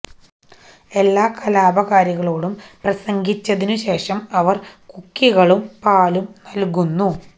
എല്ലാ കലാപകാരികളോടും പ്രസംഗിച്ചതിനു ശേഷം അവർ കുക്കികളും പാലും നൽകുന്നു